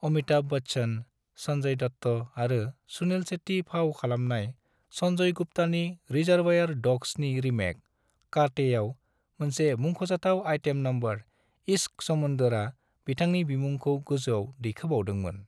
अमिताभ बच्चन, संजय दत्त आरो सुनील शेट्टी फाव खालामनाय संजय गुप्तानि 'रिजर्वायर डॉग्स'नि रीमेक 'कांटे' आव मोनसे मुख'जाथाव आइटम नंबर 'इश्क समुंदर' आ बिथांनि बिमुंखौ गोजौआव दैखोबावदोंमोन।